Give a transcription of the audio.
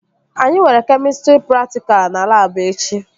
Anyị nwere kemịstrị praktikal na labụ echi